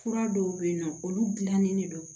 Fura dɔw bɛ yen nɔ olu gilannen de don